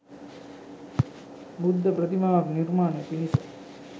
බුද්ධ ප්‍රතිමාවක් නිර්මාණය පිණිස